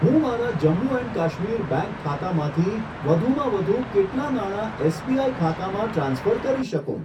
હું મારા Jammu and Kashmir bank ખાતામાંથી વધુમાં વધુ કેટલા નાણા એસબીઆઈ ખાતામાં ટ્રાન્સફર કરી શકું?